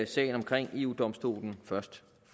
sagen omkring eu domstolen først